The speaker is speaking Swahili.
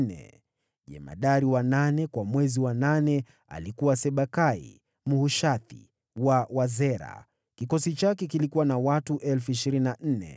Jemadari wa nane kwa mwezi wa nane, alikuwa Sibekai Mhushathi wa Wazera. Kikosi chake kilikuwa na watu 24,000.